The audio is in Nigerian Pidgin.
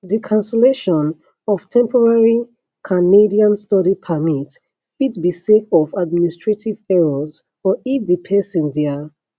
di cancellation of temporary canadian study permit fit be sake of administrative errors or if di pesin dia